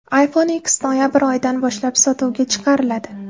iPhone X noyabr oyidan boshlab sotuvga chiqariladi.